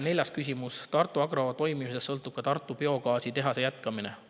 Neljas küsimus: "Tartu Agro toimimisest sõltub ka Tartu Biogaasi tehase jätkamine.